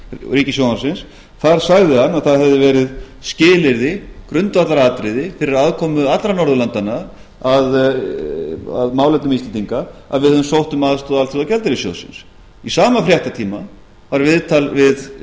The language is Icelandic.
ríkissjónvarpsins þar sagði hann að það hefði verið skilyrði grundvallaratriði fyrir aðkomu allra norðurlandanna að málefnum íslendinga að við hefðum sótt um aðstoð alþjóðagjaldeyrissjóðsins í sama fréttatíma var viðtal